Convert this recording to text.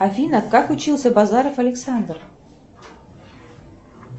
афина как учился базаров александр